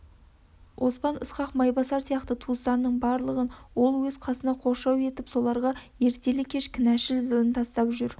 оспан ысқақ майбасар сияқты туыстарының барлығын ол өз қасына қоршау етіп соларға ертелі-кеш кінәшыл зілін тастап жүр